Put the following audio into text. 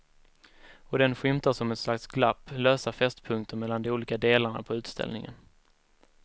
Och den skymtar som ett slags glapp, lösa fästpunkter mellan de olika delarna på utställningen.